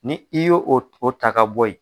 Ni i y'o o o ta ka bɔ yen